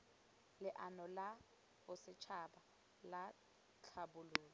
leano la bosetšhaba la tlhabololo